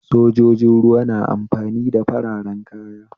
Sojojin ruwa na amfani da fararen kaya